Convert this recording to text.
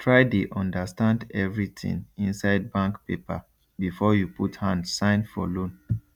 try dey understand everything inside bank paper before you put hand sign for loan